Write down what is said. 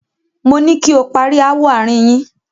Moní kí o pari ááwọ̀ àárín yín!